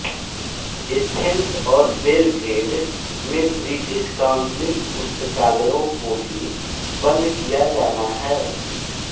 Athens और Belgrade में British Council पुस्तकालयों को भी बंद किया जाना है